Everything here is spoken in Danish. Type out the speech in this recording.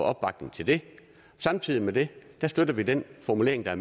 opbakning til det samtidig med det støtter vi den formulering der